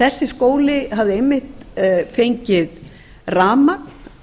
þessi skóli hafði einmitt fengið rafmagn